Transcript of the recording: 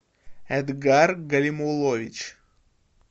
эдгар галимуллович